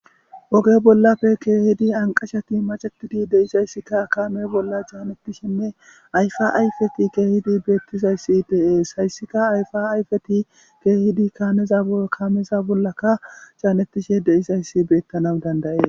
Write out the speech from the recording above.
oge bollafe keehidi anqashati macetidi deisayssikka kaame bolla jaanettishenne ayfa ayfeti keehidi beettizayssi deees hayssika ayfa ayfeti keehidi kaaneza kaameza bollaka caanettishe deyisayssi beettanau dandaye